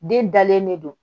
Den dalen de don